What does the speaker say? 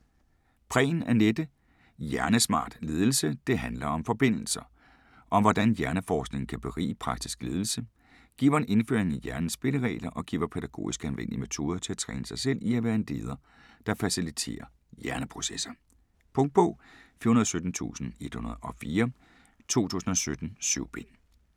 Prehn, Anette: Hjernesmart ledelse: det handler om forbindelser Om hvordan hjerneforskningen kan berige praktisk ledelse. Giver en indføring i hjernens spilleregler og giver pædagogisk anvendelige metoder til at træne sig selv i at være en leder der faciliterer hjerneprocesser. Punktbog 417104 2017. 7 bind.